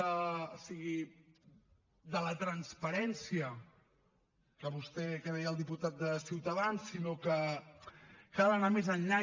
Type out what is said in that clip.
o sigui de la transparència que deia el diputat de ciutadans sinó que cal anar més enllà